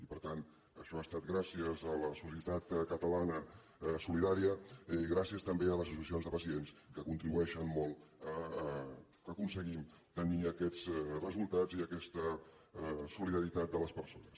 i per tant això ha estat gràcies a la societat catalana solidària gràcies també a les associacions de pacients que contribueixen molt que aconseguim tenir aquests resultats i aquesta solidaritat de les persones